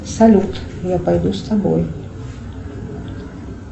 салют я пойду с тобой